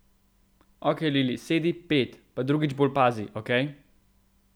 Okej, Lili, sedi pet, pa drugič bolj pazi, okej?